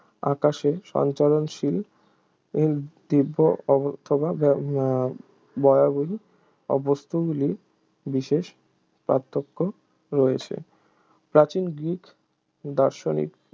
আকাশে সঞ্চরণশীল এবং দিব্য অথবা বা বরাবরই বস্তুগুলির বিশেষ পার্থক্য রয়েছে প্রাচীন গ্রিক দার্শনিক